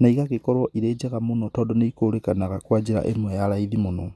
na igagĩkorwo irĩ njega mũno, tondũ nĩ ikũrĩkanaga kwa njĩra ĩmwe ya raithi mũno.